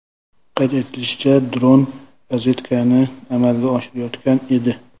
Qayd etilishicha, dron razvedkani amalga oshirayotgan edi.